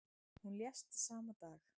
Hún lést sama dag.